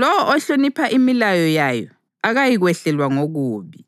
Lowo ohlonipha imilayo yayo akayikwehlelwa ngokubi,